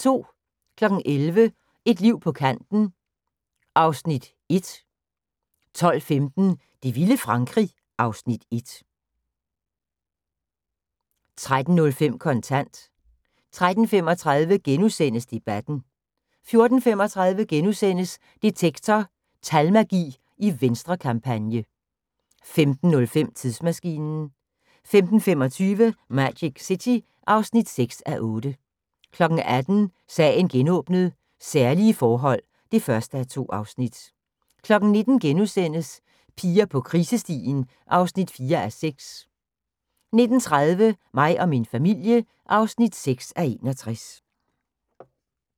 11:00: Et liv på kanten (Afs. 1) 12:15: Det vilde Frankrig (Afs. 1) 13:05: Kontant 13:35: Debatten * 14:35: Detektor: Talmagi i Venstrekampagne * 15:05: Tidsmaskinen 15:25: Magic City (6:8) 18:00: Sagen genåbnet: Særlige forhold (1:2) 19:00: Piger på krisestien (4:6)* 19:30: Mig og min familie (6:61)